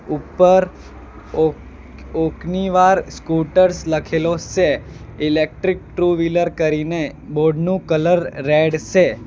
ઉપર ઓક Okinawa scooters લખેલો સે ઇલેક્ટ્રીક ટ્રુ વ્હીલર કરીને બોર્ડ નું કલર રેડ સે.